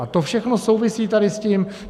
A to všechno souvisí tady s tím.